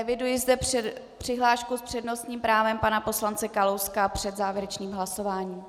Eviduji zde přihlášku s přednostním právem pana poslance Kalouska před závěrečným hlasováním.